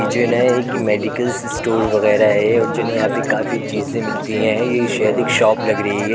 जिन्हे की medical store वैगेरह है और जिन्हे यहाँ पे काफी चीजे मिलती है | ये शहरी शॉप लग रही है।